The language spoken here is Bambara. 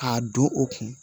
K'a don u kun